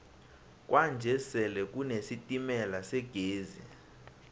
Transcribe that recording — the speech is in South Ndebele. kwanje sele kune sitemala segezi